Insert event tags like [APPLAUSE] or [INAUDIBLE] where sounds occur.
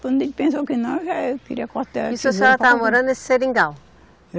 Quando ele pensou que não, eu já queria cortar. [UNINTELLIGIBLE] Isso a senhora estava morando nesse seringal?